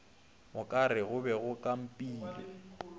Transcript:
okare go be go kampilwe